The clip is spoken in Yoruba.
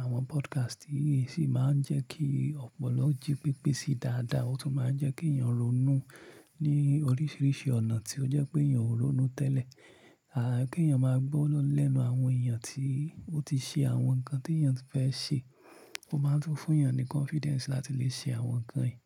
Àwọn podcast yìí sì máa ń jẹ́ kí ọ̀pọ̀lọ jí pépé sí dáadáa, ó tún máa ń jẹ́ kí èèyàn ronú ní oríṣiríṣi ọ̀nà tí ó jẹ́ pé èèyàn ò ronú tẹ́lẹ̀. À kí èèyàn máa gbọ́ lẹ́nu àwọn èèyàn tí ó ti ṣe àwọn nǹkan tí èèyàn fẹ́ ṣe, ó máa tún fún èèyàn ní confidence láti lè ṣe àwọn nǹkan yìí.